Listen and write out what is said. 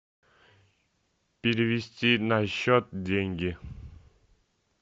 перевести на счет деньги